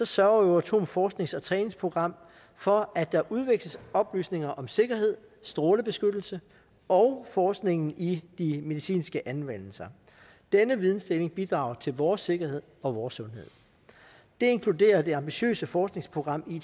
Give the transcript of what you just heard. sørger euratoms forsknings og træningsprogram for at der udveksles oplysninger om sikkerhed strålebeskyttelse og forskning i de medicinske anvendelser denne vidensdeling bidrage til vores sikkerhed og vores sundhed det inkluderer det ambitiøse forskningsprogram